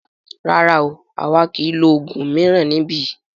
Rárá o, àwa kìí lo oògùn mìíràn níbí.